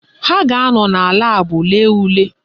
Ha ga-anọ na laabụ lee ule